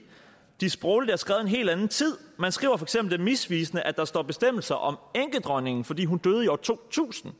de sprogligt er skrevet i en helt anden tid man skriver er misvisende at der står bestemmelser om enkedronningen fordi hun døde i år to tusind